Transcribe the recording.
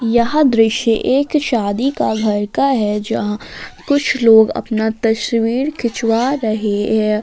यह दृश्य एक शादी का घर का है जहां कुछ लोग अपना तस्वीर खिंचवा रहे हैं।